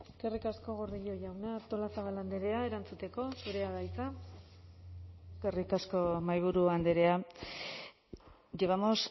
eskerrik asko gordillo jauna artolazabal andrea erantzuteko zurea da hitza eskerrik asko mahaiburu andrea llevamos